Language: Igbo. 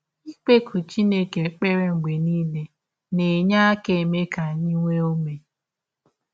Ikpekụ Chineke ekpere mgbe nile na - enye aka eme ka anyị nwee ụme.